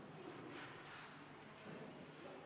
Airi Mikli, palun!